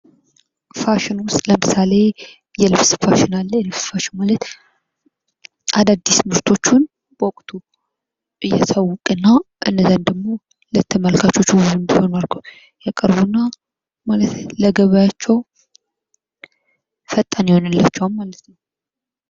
ፋሽን ውስጥ ለምሳሌ የልብስ ፋሽን አለ የልብስ ፋሽን ማለት አዳዲስ ምርቶቹን በወቅቱ እያሳወቀ እና እንዲሁም ደግሞ ለተመልካቾች ውብ አድርገው ያቀርቡና ለገበያቸው ፈጣን ይሆንላችዋል ማለት ነው ::